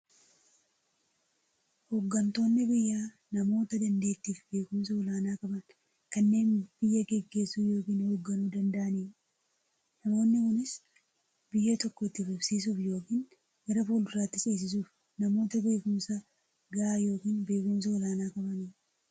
Hooggantoonni biyyaa namoota daanteettiifi beekumsa olaanaa qaban, kanneen biyya gaggeessuu yookiin hoogganuu danda'aniidha. Namoonni kunis, biyya tokko itti fufsiisuuf yookiin gara fuulduraatti ceesisuuf, namoota beekumsa gahaa yookiin beekumsa olaanaa qabaniidha.